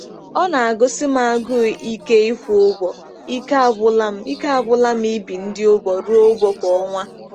Ọ na-agụsi m agụụ ike ịkwụ ụgwọ, ike agwụla m ike agwụla m ibi ndị ụgwọ ruo ụgwọ kwa ọnwa.